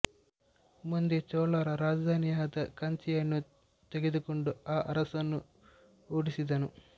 ಮುಂದೆ ಚೋಳರ ರಾಜಧಾನಿಯಾದ ಕಂಚಿಯನ್ನು ತೆಗೆದುಕೊಂಡು ಆ ಅರಸನನ್ನು ಓಡಿಸಿದನು